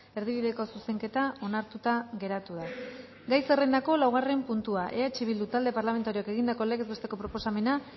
erdibideko zuzenketa onartuta geratu da isiltasuna gai zerrendako laugarren puntua eh bildu talde parlamentarioak egindako legez besteko proposamena